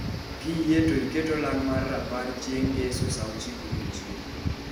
Kiyie to iket olang' mar rapar chieng' ngeso saa ochiko odiechieng'